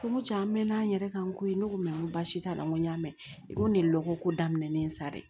Ko n ko can n mɛɛnna n yɛrɛ kan ko ye ne ko baasi t'a la n ko n y'a mɛn i ko ne lɔgɔ ko daminɛlen sa dɛ